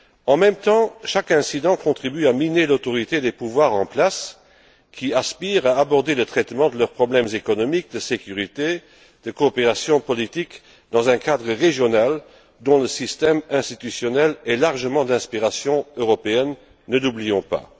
En même temps, chaque incident contribue à miner l'autorité des pouvoirs en place, qui aspirent à aborder le traitement de leurs problèmes économiques, de sécurité, de coopération politique dans un cadre régional, dont le système institutionnel est largement d'inspiration européenne, ne l'oublions pas.